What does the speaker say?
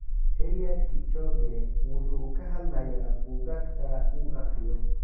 Eliud Kipchoge wuxuu ka hadlayaa buugaagta uu akhriyo